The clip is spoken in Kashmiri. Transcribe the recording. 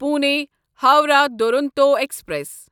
پُونے ہووراہ دورونٹو ایکسپریس